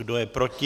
Kdo je proti?